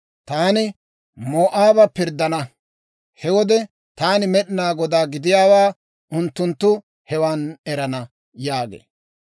Taani Moo'aaba pirddana. He wode Taani Med'inaa Godaa gidiyaawaa unttunttu hewan erana» yaagee.